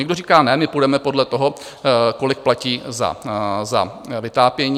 Někdo říká: Ne, my půjdeme podle toho, kolik platí za vytápění.